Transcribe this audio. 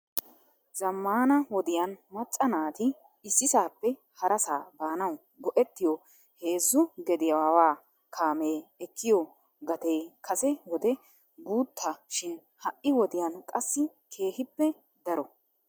zammana wodiyaan macca naati issisappe harassa baanaw go''ettiyo heezzu gediyaawa kaamee ekkiyo gatee kase wode guuttaa shin ha'i wodiyaan qassi keehippe daro.